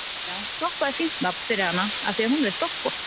Já, Doppa er fínt nafn fyrir hana af því að hún er doppótt